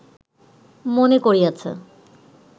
মনে করিয়াছে